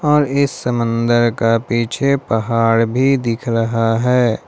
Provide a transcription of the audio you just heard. और इस समंदर का पीछे पहाड़ भी दिख रहा है।